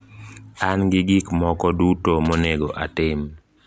An gi gik moko duto monego atim.